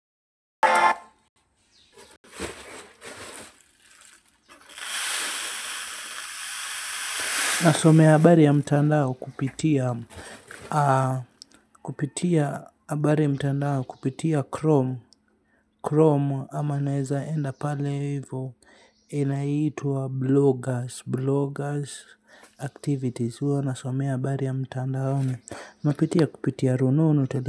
Nasomea habari ya mtandao kupitia kupitia habari ya mtandao kupitia Chrome ama naeza enda pale hivyo. Inaitwa Bloggers Bloggers Activities. Huo nasomea habari ya mtandao. Napitia kupitia rununu. Kwa hivyo.